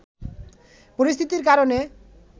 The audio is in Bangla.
পরিস্থিতির কারণে